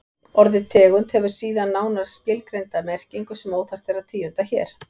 Orðið tegund hefur síðan nánar skilgreinda merkingu sem óþarft er að tíunda hér.